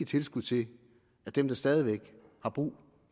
tilskud til dem der stadig væk har brug